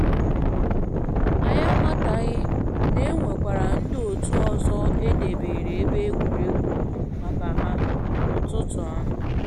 Anyị amataghị na e nwekwara ndị otu ọzọ e debeere ebe egwuregwu maka ha na ụtụtụ ahụ